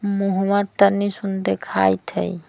मुहवां तन्नी सुन देखात हई।